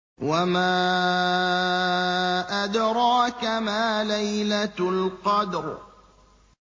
وَمَا أَدْرَاكَ مَا لَيْلَةُ الْقَدْرِ